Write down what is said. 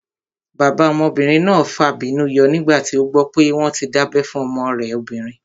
Bàbá ọmọbìnrin náà fàbínú yọ nígbà tí ó gbọ́ pé wọ́n tí dábẹ́ fún ọmọ rẹ̀ obìnrin